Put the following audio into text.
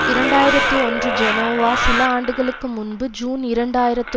இரண்டு ஆயிரத்தி ஒன்று ஜெனோவா சில ஆண்டுகளுக்கு முன்பு ஜூன் இரண்டு ஆயிரத்தி